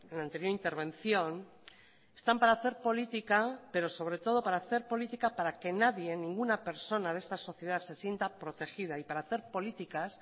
la anterior intervención están para hacer política pero sobre todo para hacer política para que nadie ninguna persona de esta sociedad se sienta protegida y para hacer políticas